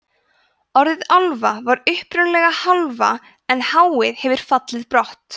orðið álfa var upprunalega hálfa en hið hefur fallið brott